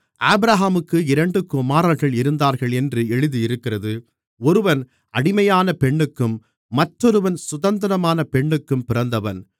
ஆபிரகாமுக்கு இரண்டு குமாரர்கள் இருந்தார்கள் என்று எழுதியிருக்கிறது ஒருவன் அடிமையான பெண்ணுக்கும் மற்றொருவன் சுதந்திரமான பெண்ணுக்கும் பிறந்தவன்